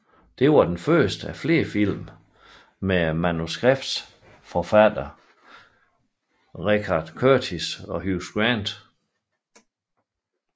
Det var den første af flere film med manuskriptforfatter Richard Curtis og Hugh Grant